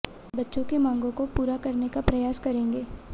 बच्चों की माँगों को पूरा करने का प्रयास करेंगे